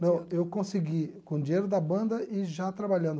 Não, eu consegui com o dinheiro da banda e já trabalhando.